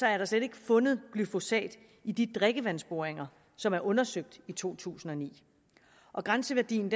er der slet ikke fundet glyfosat i de drikkevandsboringer som er undersøgt i to tusind og ni og grænseværdien